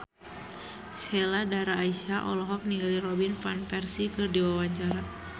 Sheila Dara Aisha olohok ningali Robin Van Persie keur diwawancara